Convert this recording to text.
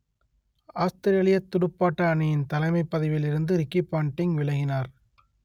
ஆஸ்த்திரேலியத் துடுப்பாட்ட அணியின் தலைமைப் பதவியிலிருந்து ரிக்கி பாண்டிங் விலகினார்